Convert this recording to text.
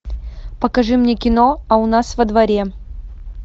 покажи мне кино а у нас во дворе